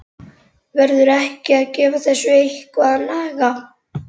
Verður ekki að gefa þessu eitthvað að naga?